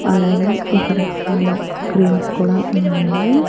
అలాగే ఇక్కడ చాలా క్రీమ్స్ కూడా ఉన్నాయండి.